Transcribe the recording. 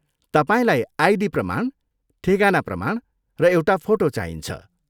तपाईँलाई आइडी प्रमाण, ठेगाना प्रमाण र एउटा फोटो चाहिन्छ।